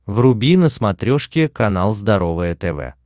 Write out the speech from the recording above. вруби на смотрешке канал здоровое тв